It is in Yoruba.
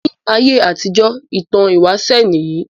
Ní ayé àtijọ ìtàn ìwáṣẹ níyì